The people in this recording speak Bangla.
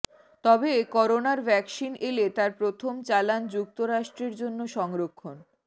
তবে করোনার ভ্যাকসিন এলে তার প্রথম চালান যুক্তরাষ্ট্রের জন্য সংরক্ষণ